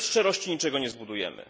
Bez szczerości niczego nie zbudujemy.